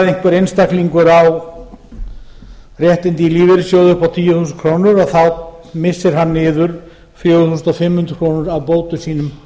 ef einhver einstaklingur ár réttindi í lífeyrissjóði upp á tíu þúsund krónur þá missir hann niður fjögur þúsund fimm hundruð krónur af bótum sínum